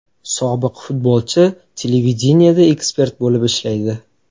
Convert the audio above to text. Sobiq futbolchi televideniyeda ekspert bo‘lib ishlaydi.